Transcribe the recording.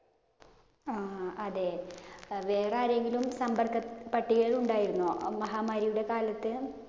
ആ അതെ. വേറെ ആരെങ്കിലും സമ്പര്‍ക്കപ്പട്ടികയില്‍ ഉണ്ടായിരുന്നോ മഹാമാരിയുടെ കാലത്ത്?